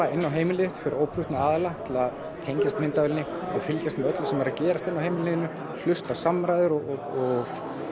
inn á heimilið þitt fyrir óprúttna aðila til að tengjast myndavélinni og fylgjast með öllu sem er að gerast inni á heimilinu þínu hlusta á samræður og